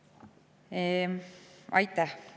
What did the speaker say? Aitäh!